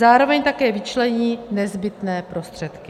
Zároveň také vyčlení nezbytné prostředky.